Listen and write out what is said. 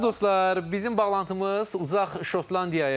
Əziz dostlar, bizim bağlantımız uzaq Şotlandiyayaydı.